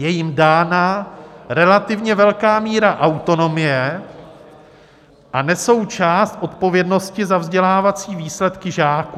Je jim dána relativně velká míra autonomie a nesou část odpovědnosti za vzdělávací výsledky žáků.